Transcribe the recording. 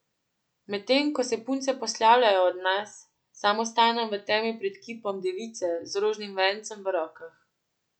Medtem ko se punce poslavljajo od nas, sam ostanem v temi pred kipom Device z rožnim vencem v rokah.